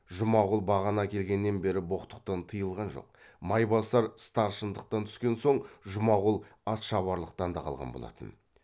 жұмағұл бағана келгеннен бері боқтықтан тыйылған жоқ майбасар старшындықтан түскен соң жұмағұл атшабарлықтан да қалған болатын